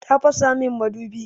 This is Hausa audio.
Ta fasa min madubi.